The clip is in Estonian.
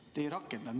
Te seda ei rakendanud.